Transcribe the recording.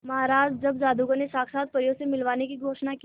महाराज जब जादूगर ने साक्षात परियों से मिलवाने की घोषणा की